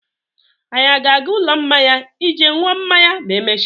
Anyi a ga-aga ụlọ mmanya ije ṅụọ mmanya ma emechaa?